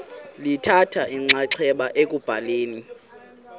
lithatha inxaxheba ekubhaleni